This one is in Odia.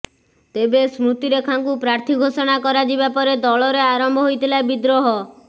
ତେବେ ସ୍ମୃତିରେଖାଙ୍କୁ ପ୍ରାର୍ଥୀ ଘୋଷଣା କରାଯିବା ପରେ ଦଳରେ ଆରମ୍ଭ ହୋଇଥିଲା ବିଦ୍ରୋହ